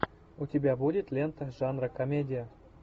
у тебя будет лента жанра комедия